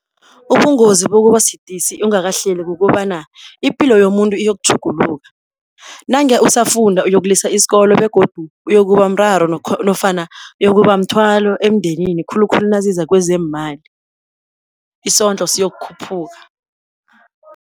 Ubungozi kokuba sidisi ungakahleli kukobana ipilo yomuntu iyokutjhuguluka. Nange usafunda uyokulisa isikolo begodu uyokuba mraro nofana uyokuba mthwalo emndenini khulukhulu naziza kwezeemali, isondlo siyokukhuphuka.